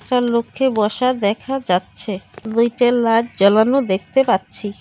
একটা লোককে বসা দেখা যাচ্ছে দুইটা লাইট জ্বালানো দেখতে পাচ্ছি।